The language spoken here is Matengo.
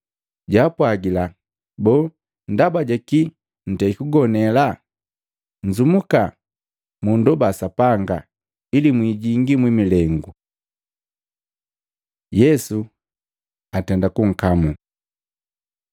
Jaapwajila, “Boo ndaba jakii ntei kugonela? Nzumuka mu ndoba Sapanga, ili mwijingi mwi milengu.” Yesu atenda kunkamula Matei 26:47-56; Maluko 14:43-50; Yohana 18:3-11